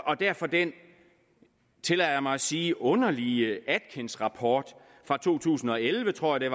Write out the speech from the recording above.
og derfor den tillader jeg mig at sige underlige atkinsrapport fra to tusind og elleve tror jeg